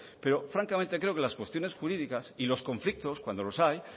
pero francamente creo que las cuestiones jurídicas y los conflictos cuando los hay